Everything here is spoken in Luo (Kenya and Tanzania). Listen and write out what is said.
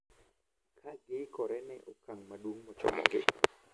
Kagiikore ne okang` maduong` mochomogi.